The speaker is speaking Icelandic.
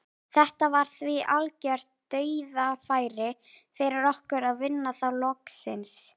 Þetta var því algjört dauðafæri fyrir okkur að vinna þá loksins.